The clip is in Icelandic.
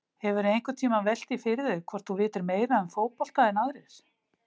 Hefurðu einhvern tímann velt því fyrir þér hvort þú vitir meira um fótbolta en aðrir?